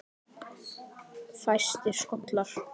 Fæstir skollar